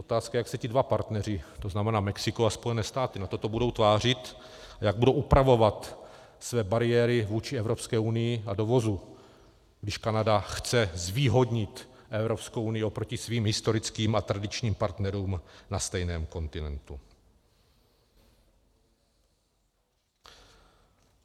Otázka je, jak se ti dva partneři, to znamená Mexiko a Spojené státy, na toto budou tvářit a jak budou upravovat své bariéry vůči Evropské unii a dovozu, když Kanada chce zvýhodnit Evropskou unii oproti svým historickým a tradičním partnerům na stejném kontinentu.